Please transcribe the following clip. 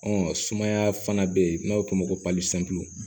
Ɔ sumaya fana bɛ yen n'a bɛ f'o ma ko